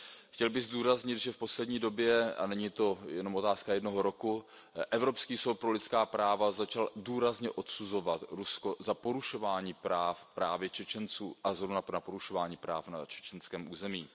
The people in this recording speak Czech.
Chtěl bych zdůraznit, že v poslední době a není to jenom otázka jednoho roku Evropský soud pro lidská práva začal důrazně odsuzovat Rusko za porušování práv právě Čečenců a porušování práv na čečenském území.